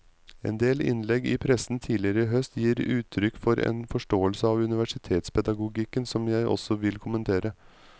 Endel innlegg i pressen tidligere i høst gir uttrykk for en forståelse av universitetspedagogikken som jeg også vil kommentere.